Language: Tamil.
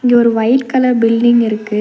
இது ஒரு ஒயிட் கலர் பில்டிங்கிருக்கு .